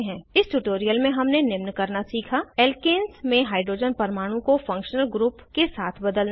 इस ट्यूटोरियल में हमने निम्न करना सीखा एल्केन्स में हाइड्रोजन परमाणु को फंक्शनल ग्रुप के साथ बदलना